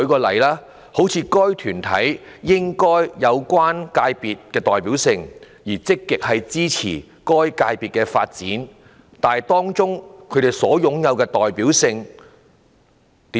例如，"該團體應在有關界別具代表性，而且積極支持該界別的發展"，當中怎樣算是擁有"代表性"？